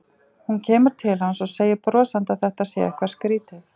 Hún kemur til hans og segir brosandi að þetta sé eitthvað skrýtið.